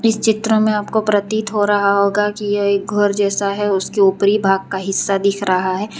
इस चित्र में आपको प्रतीत हो रहा होगा कि यह एक घर जैसा है उसके ऊपरी भाग का हिस्सा दिख रहा है।